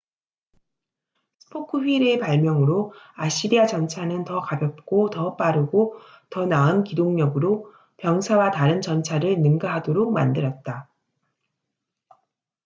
스포크 휠의 발명으로 아시리아 전차는 더 가볍고 더 빠르고 더 나은 기동력으로 병사와 다른 전차를 능가하도록 만들었다